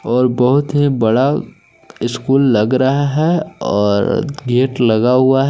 और बहुत ही बड़ा स्कूल लग रहा है और गेट लगा हुआ है।